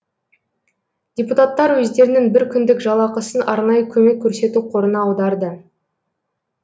депутаттар өздерінің бір күндік жалақысын арнайы көмек көрсету қорына аударды